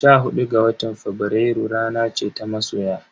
Sha hudu ga watan Fabrairu rana ce ta masoya.